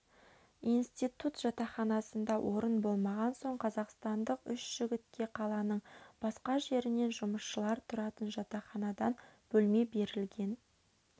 институт жатақханасында орын болмаған соң қазақстандық үш жігітке қаланың басқа жерінен жұмысшылар тұратын жатақханадан бөлме берілген